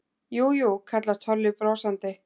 Jú, jú kallar Tolli brosandi.